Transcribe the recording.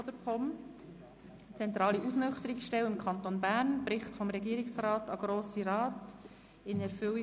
Ich gebe jedoch zuerst das Wort der Kommissionssprecherin, Grossrätin Schindler.